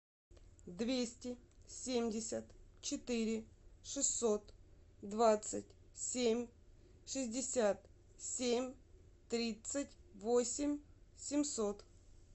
двести семьдесят четыре шестьсот двадцать семь шестьдесят семь тридцать восемь семьсот